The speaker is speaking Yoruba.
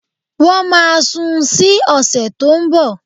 Wọ́n máa sun ún sí ọ̀sẹ̀ tó ń bọ̀